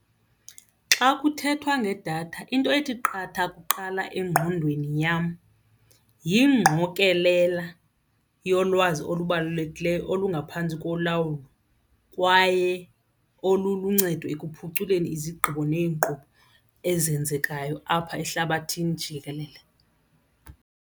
Xa kuthethwa ngedatha into ethi qatha kuqala engqondweni yam yingqokelela yolwazi olubalulekileyo olungaphantsi kolawulo kwaye oluluncedo ekuphuculeni izigqibo neenkqubo ezenzekayo apha ehlabathini jikelele.